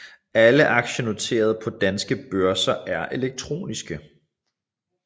Alle aktier noteret på danske børser er elektroniske